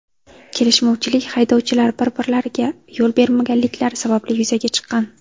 Kelishmovchilik haydovchilar bir-birlariga yo‘l bermaganliklari sababli yuzaga chiqqan.